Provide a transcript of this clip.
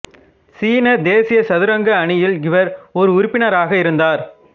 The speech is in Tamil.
சீன தேசிய சதுரங்க அணியில் இவர் ஓர் உறுப்பினராக இருந்தார்